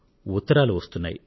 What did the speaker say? ఉత్తరాలు అందుతున్నాయి